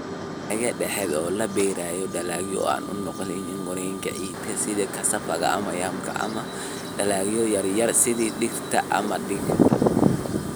"Gallayda dhexda oo la beero dalagyo aan u nuglayn gooryaanka ciidanka sida Cassava ama yamka, ama dalagyo yar yar sida digirta ama digirta."